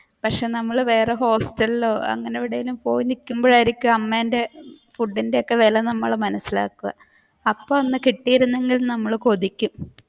പക്ഷേ നമ്മൾ വേറെ ഹോസ്റ്റലിലോ അങ്ങനെ എവിടേലും പോയിനിക്കുമ്പോഴായിരിക്കും അമ്മേന്റെ ഫുഡിന്റെ ഒക്കെ വില നമ്മൾ മനസിലാക്കുക അപ്പ ഒന്ന് കിട്ടിയിരുന്നെങ്കിൽ എന്ന് നമ്മൾ കൊതിക്കും.